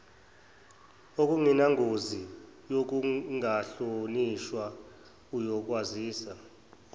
okunengozi yokungahlonishwa uyokwazisa